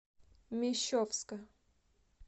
мещовска